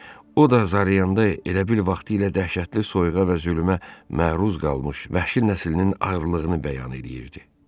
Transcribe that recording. O da zarıyanda elə bil vaxtilə dəhşətli soyuğa və zülmətə məruz qalmış vəhşi nəslinin ağrılığını bəyan eləyirdi.